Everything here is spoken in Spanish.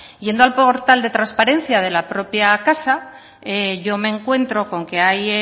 yendo al portal de transparencia de la propia casa yo me encuentro con que hay